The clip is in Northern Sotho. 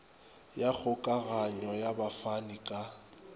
ya kgokaganyo ya bafani ka